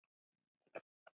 Svona var Hörður.